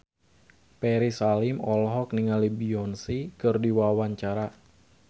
Ferry Salim olohok ningali Beyonce keur diwawancara